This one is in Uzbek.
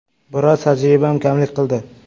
Biroz tajribam kamlik qildi.